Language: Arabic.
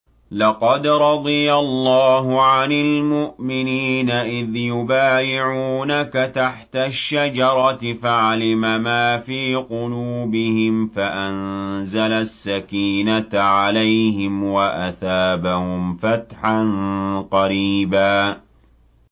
۞ لَّقَدْ رَضِيَ اللَّهُ عَنِ الْمُؤْمِنِينَ إِذْ يُبَايِعُونَكَ تَحْتَ الشَّجَرَةِ فَعَلِمَ مَا فِي قُلُوبِهِمْ فَأَنزَلَ السَّكِينَةَ عَلَيْهِمْ وَأَثَابَهُمْ فَتْحًا قَرِيبًا